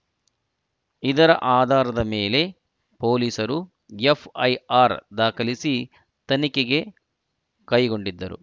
ಇದರ ಆಧಾರದ ಮೇಲೆ ಪೊಲೀಸರು ಎಫ್‌ಐಆರ್‌ ದಾಖಲಿಸಿ ತನಿಖೆಗೆ ಕೈಗೊಂಡಿದ್ದರು